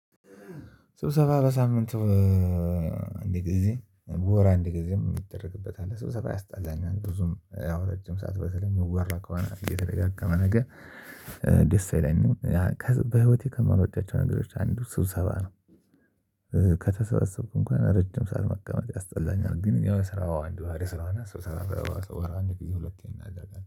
ስብሰባ በሳምንቱ አንደ ጊዜ በወር አንድ ጊዜም ይደረግበታል። ስብሰባ ያስጠላኛል ብዙም ረጅም ሰዓት በተለይ የሚወራ ከሆነ የተደጋገመ ነገር ደስ አይለኝም። በህይወቴ ከማልወዳቸው ነገሮች አንዱ ስብሰባ ነው። ከተሰበሰብኩም እንኳን ረጅም ሰዓት መቀመጥ ያስጠላኛል። ግን የስራው አንዱ ባህርይ ስለሆነ ስብሰባ በወር አንድ ጊዜ ሁለቴን አደርጋለሁ